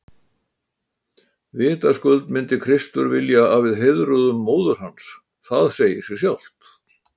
Vitaskuld myndi Kristur vilja að við heiðruðum móður hans, það segir sig sjálft!